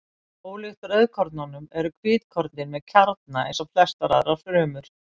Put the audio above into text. ólíkt rauðkornunum eru hvítkornin með kjarna eins og flestar aðrar frumur